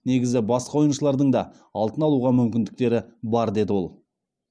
негізі басқа ойыншылардың да алтын алуға мүмкіндіктері бар деді ол